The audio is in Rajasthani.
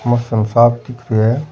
मौसम साफ दिख रो है।